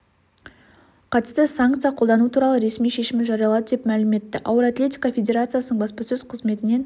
қатысты санкция қолдану туралы ресми шешімін жариялады деп мәлім етті ауыр атлетика федерациясының баспасөз қызметінен